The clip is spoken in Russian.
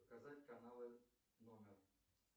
показать каналы номер